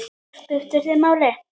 Það skipti þig máli.